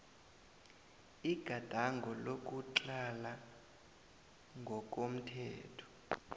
igadango lokutlhala ngokomthetho